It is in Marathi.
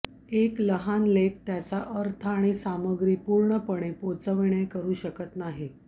एक लहान लेख त्याचा अर्थ आणि सामग्री पूर्णपणे पोहचविणे करू शकत नाही